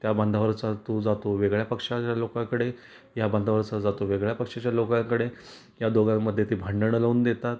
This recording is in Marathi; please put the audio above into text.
त्या बंधावरचा तो जातो वेगळ्या पक्षाच्या लोकांकडे या बांधावरचा जातो वेगळ्या पक्षाच्या लोकांकडे या दोघान मध्ये ती भांडण लावून देतात.